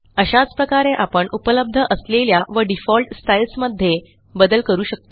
अशाच प्रकारे आपण उपलब्ध असलेल्या व डिफॉल्ट स्टाईल्स मध्ये बदल करू शकतो